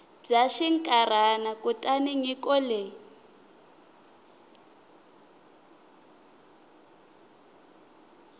bya xinkarhana kutani nyiko leyi